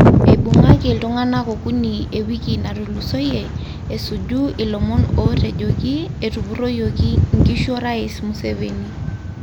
Eibungaki ltunganak okuni ewiki natulusoyie esuju ilomon otejoki etupuroyioki nkishu orais Museveni.